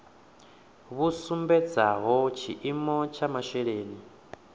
vhu sumbedzaho tshiimo tsha masheleni